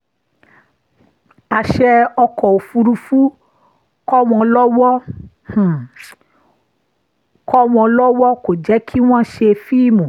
àṣẹ ọkọ̀ òfurufú kọ́ wọn lọwọ kò wọn lọwọ kò jẹ́ kí wọ́n ṣe fíìmù